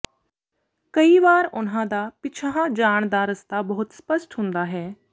ਕਈ ਵਾਰ ਉਨ੍ਹਾਂ ਦਾ ਪਿਛਾਂਹ ਜਾਣ ਦਾ ਰਸਤਾ ਬਹੁਤ ਸਪੱਸ਼ਟ ਹੁੰਦਾ ਹੈ